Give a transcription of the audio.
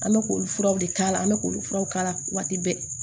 An bɛ k'olu furaw de k'a la an bɛ k'olu furaw k'a la waati bɛɛ